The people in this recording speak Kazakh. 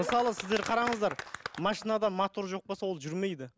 мысалы сіздер қараңыздар машинада мотор жоқ болса ол жүрмейді